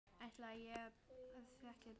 Áætlað er að þétta byggð.